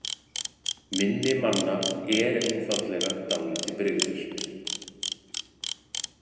Minni manna er einfaldlega dálítið brigðult.